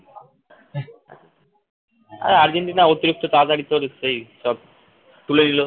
হ্যাঁ আর্জেন্টিনা অতিরিক্ত তাড়াতাড়ি তো সেই সব তুলে নিল